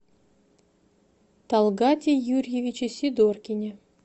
талгате юрьевиче сидоркине